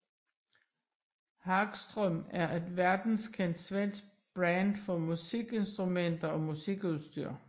Hagström er et verdenskendt svensk brand for musikinstrumenter og musikudstyr